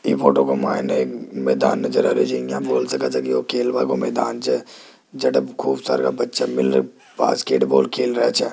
यह फोटो को मैंने एक मैदान नजर आ रहा छे खूब सारे बच्चा मिलने बास्केटबॉल खेल रहा छे।